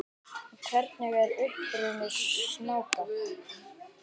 Hver er uppruni snáka?